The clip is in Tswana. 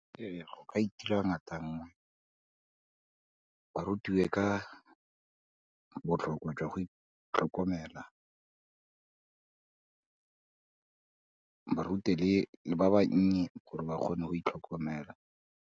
Ee, go ka itira ngata nngwe, ba rutiwe ka botlhokwa jwa go itlhokomela ba rute le ba bannye gore ba kgone go itlhokomela.